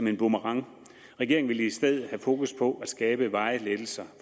en boomerang regeringen vil i stedet have fokus på at skabe varige lettelser